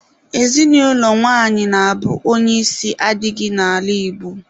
Ezinụlọ nwanyị na-abụ onye isi adịghị n'ala Igbo